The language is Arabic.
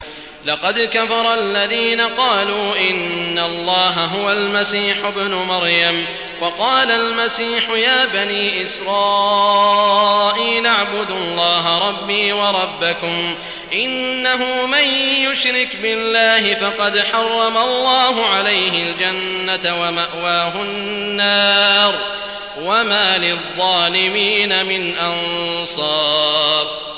لَقَدْ كَفَرَ الَّذِينَ قَالُوا إِنَّ اللَّهَ هُوَ الْمَسِيحُ ابْنُ مَرْيَمَ ۖ وَقَالَ الْمَسِيحُ يَا بَنِي إِسْرَائِيلَ اعْبُدُوا اللَّهَ رَبِّي وَرَبَّكُمْ ۖ إِنَّهُ مَن يُشْرِكْ بِاللَّهِ فَقَدْ حَرَّمَ اللَّهُ عَلَيْهِ الْجَنَّةَ وَمَأْوَاهُ النَّارُ ۖ وَمَا لِلظَّالِمِينَ مِنْ أَنصَارٍ